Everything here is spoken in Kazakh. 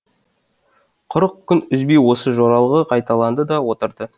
қырық күн үзбей осы жоралғы қайталанды да отырды